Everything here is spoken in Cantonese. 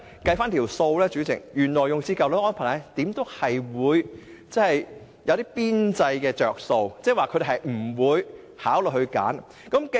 代理主席，原來的安排會有一些邊際"着數"，因此他們不會考慮選擇新的安排。